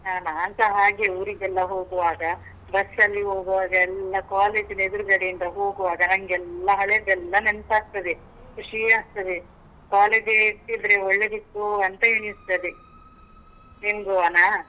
ಹಾ ನಾನ್ಸ ಹಾಗೇ, ಊರಿಗೆಲ್ಲ ಹೋಗುವಾಗ, bus ಅಲ್ಲಿ ಹೋಗುವಾಗ ಎಲ್ಲ ಕಾಲೇಜಿನ ಎದುರುಗಡೆ ಇಂದ ಹೋಗುವಾಗ ನಂಗೆಲ್ಲ ಹಳೇದೆಲ್ಲಾ ನೆನ್ಪಾಗ್ತದೆ, ಖುಷೀ ಆಗ್ತದೆ. college ಇರ್ತಿದ್ರೆ ಒಳ್ಳೆದಿತ್ತು ಅಂತ ಎಣಿಸ್ತದೆ. ನಿಂಗುವನಾ?